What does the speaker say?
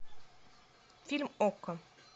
фильм окко